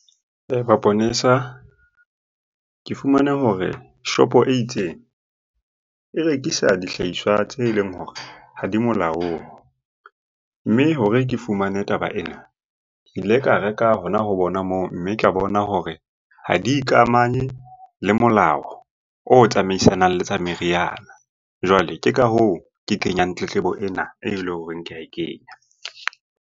Maponesa, ke fumane hore shopo e itseng e rekisa dihlahiswa tse leng hore ha di molaong. Mme hore ke fumane taba ena, ke ile ka reka hona ho bona moo, mme ke a bona hore ha di ikamanye le molao o tsamaisanang le tsa meriana. Jwale ke ka hoo ke kenyang tletlebo ena e leng hore ke ae kenya.